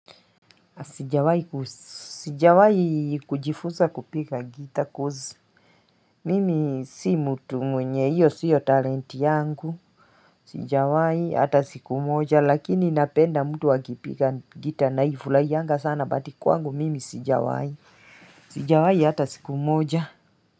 Sijawai kujifuza kupiga gita coz. Mimi si mutu mwenye hiyo siyo talenti yangu. Sijawai hata siku moja. Lakini napenda mtu akipiga gita naifu lai yanga sana but kwangu mimi sijawai. Sijawai hata siku moja.